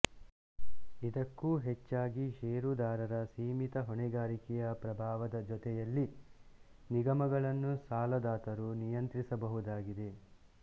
ಇದಕ್ಕೂ ಹೆಚ್ಚಾಗಿ ಷೇರುದಾರರ ಸೀಮಿತ ಹೊಣೆಗಾರಿಕೆಯ ಪ್ರಭಾವದ ಜೊತೆಯಲ್ಲಿನಿಗಮಗಳನ್ನು ಸಾಲದಾತರು ನಿಯಂತ್ರಿಸಬಹುದಾಗಿದೆ